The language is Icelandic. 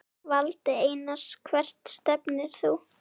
Valdi Einars Hvert stefnir þú?